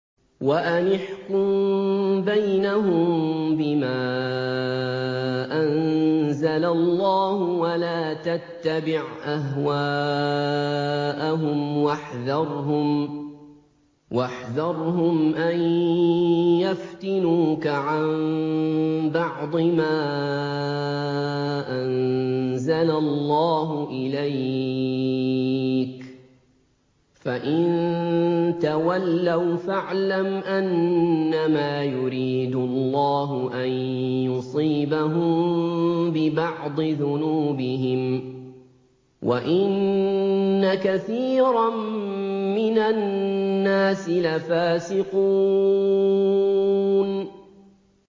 وَأَنِ احْكُم بَيْنَهُم بِمَا أَنزَلَ اللَّهُ وَلَا تَتَّبِعْ أَهْوَاءَهُمْ وَاحْذَرْهُمْ أَن يَفْتِنُوكَ عَن بَعْضِ مَا أَنزَلَ اللَّهُ إِلَيْكَ ۖ فَإِن تَوَلَّوْا فَاعْلَمْ أَنَّمَا يُرِيدُ اللَّهُ أَن يُصِيبَهُم بِبَعْضِ ذُنُوبِهِمْ ۗ وَإِنَّ كَثِيرًا مِّنَ النَّاسِ لَفَاسِقُونَ